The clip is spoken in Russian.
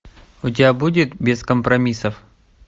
у тебя будет без компромиссов